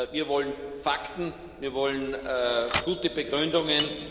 Wir wollen Fakten, wir wollen gute Begründungen.